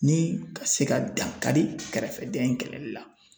Ni ka se ka dan kari kɛrɛfɛdɛn in kɛlɛli la.